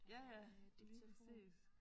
Ja ja lige præcis